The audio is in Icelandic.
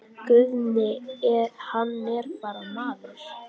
Guðni hann er bara maður.